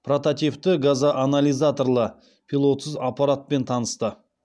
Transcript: протативті газоанализаторлы пилотсыз аппаратпен танысты